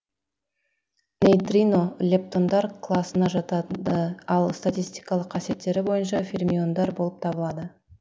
нейтрино лептондар класына жатады ал статистикалық қасиеттері бойынша фермиондар болып табылады